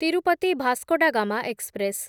Tirupati Vasco da Gama express